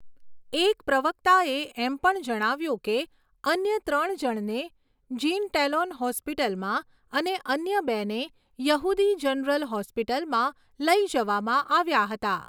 એક પ્રવક્તાએ એમ પણ જણાવ્યુંં કે અન્ય ત્રણ જણને જીન ટેલોન હોસ્પિટલમાં અને અન્ય બેને યહૂદી જનરલ હોસ્પિટલમાં લઈ જવામાં આવ્યાં હતાં.